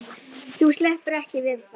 Þú sleppur ekki við það!